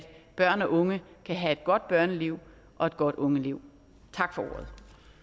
børn og unge kan have et godt børneliv og et godt ungeliv tak for ordet